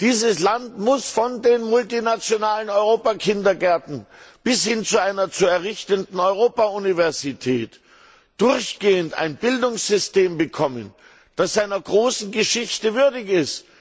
Dieses Land muss von den multinationalen Europa Kindergärten bis hin zu einer zu errichtenden Europa Universität durchgehend ein Bildungssystem bekommen, das seiner großen Geschichte würdig